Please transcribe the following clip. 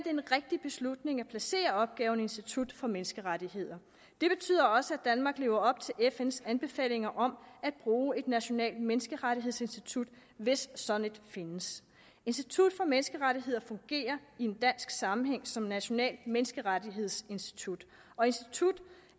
en rigtig beslutning at placere opgaven i institut for menneskerettigheder det betyder også at danmark lever op til fns anbefalinger om at bruge et nationalt menneskerettighedsinstitut hvis et sådant findes institut for menneskerettigheder fungerer i en dansk sammenhæng som et nationalt menneskerettighedsinstitut og instituttet